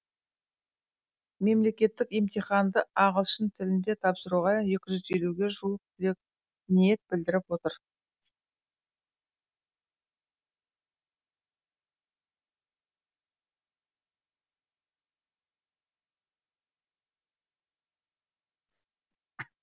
мемлекеттік емтиханды ағылшын тілінде тапсыруға екі жүз елуге жуық түлек ниет білдіріп отыр